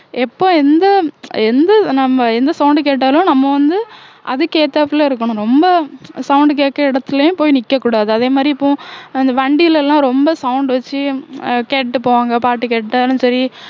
எப்ப எந்த எந்த நம்ம எந்த sound கேட்டாலும் நம்ம வந்து அதுக்கு ஏத்தாப்புல இருக்கணும் ரொம்ப sound கேக்கற இடத்துலயும் போய் நிக்கக்கூடாது அதே மாதிரி இப்போ அந்த வண்டியில எல்லாம் ரொம்ப sound வச்சு அஹ் கேட்டுட்டு போவாங்க பாட்டு கேட்டாலும் சரி